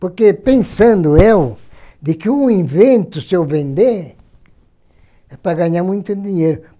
Porque pensando eu, de que um invento, se eu vender, é para ganhar muito dinheiro.